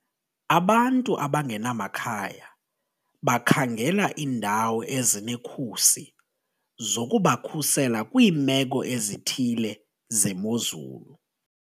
Abantu abangenamakhaya bakhangela iindawo ezinekhusi zokubakhusela kwiimeko ezithile zemozulu.